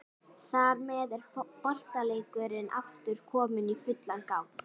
Þar með er boltaleikurinn aftur kominn í fullan gang.